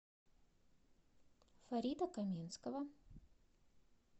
фарита каменского